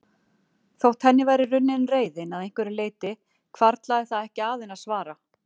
Þótt henni væri runnin reiðin að einhverju leyti hvarflaði það ekki að henni að svara.